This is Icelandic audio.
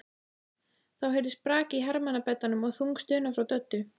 Þá heyrðist brak í hermannabeddanum og þung stuna frá Döddu.